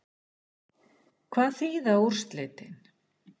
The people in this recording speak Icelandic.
Hvað þýða úrslitin?